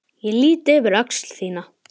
Ég lýt yfir öxl þína.